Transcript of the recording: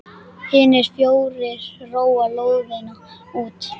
Hinir fjórir róa lóðina út.